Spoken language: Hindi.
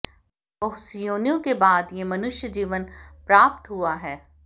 बहुत सी योनियों के बाद ये मनुष्य जीवन प्राप्त हुआ हैे